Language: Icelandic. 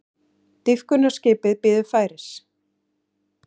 Dýpkunarskip bíður færis